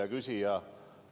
Hea küsija!